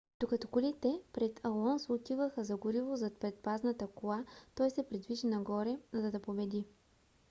докато колите пред алонсо отиваха за гориво зад предпазната кола той се придвижи нагоре за да победи